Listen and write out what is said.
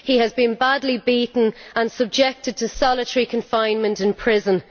He has been badly beaten and subjected to solitary confinement in prison.